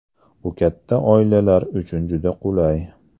Bu katta oilalar uchun juda qulay.